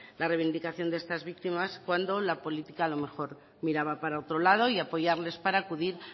la reivindicación de estas víctimas cuando la política a lo mejor miraba para otro lado y apoyarles para acudir